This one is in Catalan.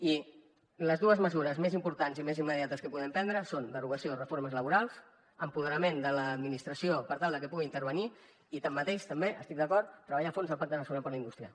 i les dues mesures més importants i més immediates que podem prendre són la derogació de reformes laborals empoderament de l’administració per tal que pugui intervenir i així mateix també treballar a fons el pacte nacional per a la indústria